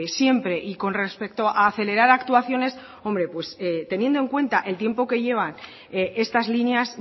siempre y con respecto a acelerar actuaciones hombre pues teniendo en cuenta el tiempo que llevan estas líneas